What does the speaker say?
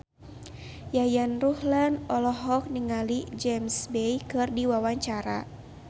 Yayan Ruhlan olohok ningali James Bay keur diwawancara